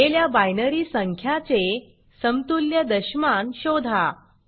दिलेल्या बायनरी संख्या चे समतुल्य दशमान शोधा